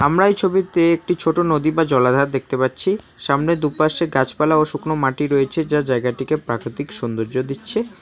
আমরা এই ছবিতে একটি ছোট নদী বা জলাধার দেখতে পাচ্ছি সামনে দু' পাশে গাছপালা ও শুকনো মাটি রয়েছে যা জায়গাটিকে প্রাকৃতিক সৌন্দর্য দিচ্ছে।